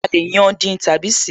A lè yán, dín tàbí ṣeé